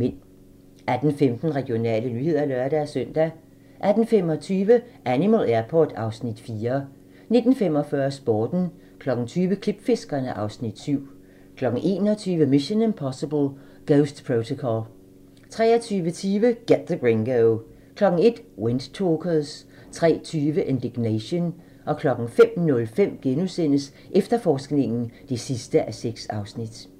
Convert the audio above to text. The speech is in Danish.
18:15: Regionale nyheder (lør-søn) 18:25: Animal Airport (Afs. 4) 19:45: Sporten 20:00: Klipfiskerne (Afs. 7) 21:00: Mission: Impossible - Ghost Protocol 23:20: Get the Gringo 01:00: Windtalkers 03:20: Indignation 05:05: Efterforskningen (6:6)*